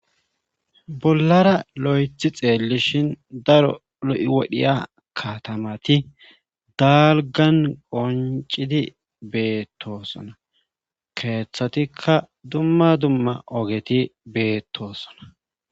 bollara lo'ethi xeellishhin daro lo'i wodhiya katamati dalgan qoncidi beettosona keeththatikka dumma dumma ogeti beettosona